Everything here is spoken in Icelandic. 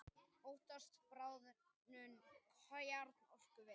Óttast bráðnun kjarnorkuvers